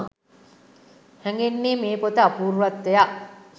හැඟෙන්නේ මේ පොත අපූර්වත්වයක්